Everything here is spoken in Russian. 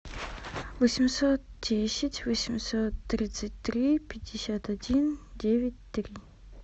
восемьсот десять восемьсот тридцать три пятьдесят один девять три